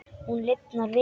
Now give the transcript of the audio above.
Hún lifnar við.